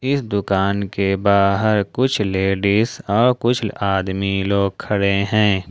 इस दुकान के बाहर कुछ लेडिस और कुछ आदमी लोग खड़े हैं।